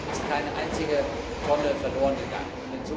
Davon ist keine einzige Tonne verlorengegangen.